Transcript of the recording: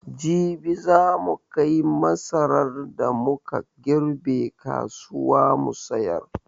Jibi za mu kai masaran da mu ka girbe kasuwa mu sayar.